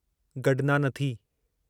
गडनानथी